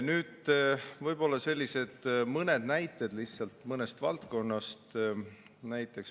Nüüd lihtsalt mõned näited mõnest valdkonnast.